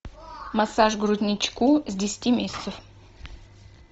массаж грудничку с десяти месяцев